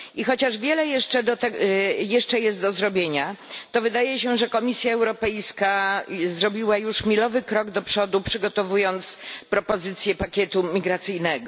I chociaż wiele jeszcze jest do zrobienia, to wydaje się, że Komisja Europejska zrobiła już milowy krok do przodu przygotowując propozycję pakietu migracyjnego.